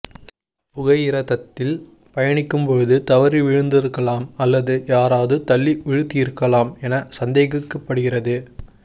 புகையிரதத்தில் பயணிக்கும் பொழுது தவறி விழுந்திருக்கலாம் அல்லது யாராவது தள்ளி விழுத்தியிருக்கலாம் என சந்தேகிக்கப்பகிறது